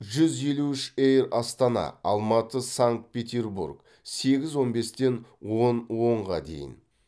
жүз елу үш эйр астана алматы санкт петербург сегіз он бестен он онға дейін